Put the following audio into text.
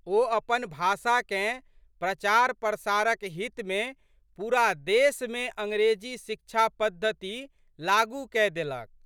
ओ अपन भाषाकेँ प्रचारप्रसारक हितमे पूरा देशमे अंग्रेजी शिक्षा पद्धति लागू कय देलक।